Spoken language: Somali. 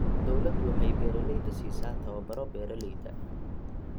Dawladdu waxay beeralayda siisaa tababaro beeralayda.